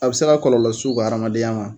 A be se ka kɔlɔlɔ s'u ka adamadenya ma